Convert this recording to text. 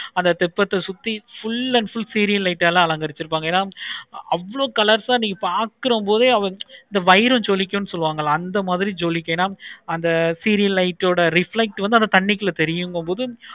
அந்த தெப்பத்தை சுத்தி full and full serial light ஆழ வச்சிருப்பாங்க. இவளோ colors ஆஹ் நீங்க பார்க்கிற போதாய் இந்த பைராம் ஜொலிக்கும் சொல்வாங்க அந்த மாதிரி ஜொலிக்கும். அந்த feel light ஓட reflect வந்து அந்த தண்ணிக்குள்ள தெரியும்கிற போது